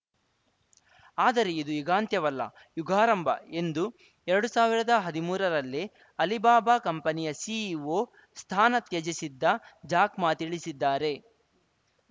ಆದರೆ ಇದು ಯುಗಾಂತ್ಯವಲ್ಲ ಯುಗಾರಂಭ ಎಂದು ಎರಡು ಸಾವಿರದ ಹದಿಮೂರರಲ್ಲೇ ಅಲಿಬಾಬಾ ಕಂಪನಿಯ ಸಿಇಒ ಸ್ಥಾನ ತ್ಯಜಿಸಿದ್ದ ಜಾಕ್‌ ಮಾ ತಿಳಿಸಿದ್ದಾರೆ